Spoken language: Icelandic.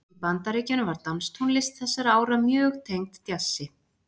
Í Bandaríkjunum var danstónlist þessara ára mjög tengd djassi.